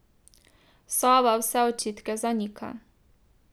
Sova vse očitke zanika.